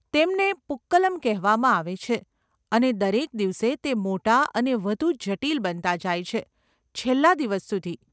તેમને પૂક્કલમ કહેવામાં આવે છે અને દરેક દિવસે તે મોટા અને વધુ જટિલ બનતા જાય છે, છેલ્લા દિવસ સુધી.